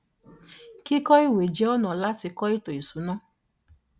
kíkọ ìwé jẹ́ ọ̀nà láti kọ ètò ìsúná.